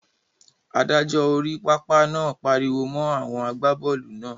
Adájọ́ orí pápá náà pariwo mọ́ àwọn àgbábọ́ọ̀lù náà.